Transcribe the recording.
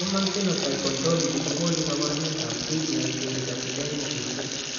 Human Phenotype Ontology kokonu kabarunoikab D glycericacidemia cherube.